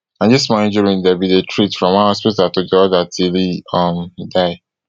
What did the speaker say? na di small injury dem bin treat from one hospital to di oda till e um die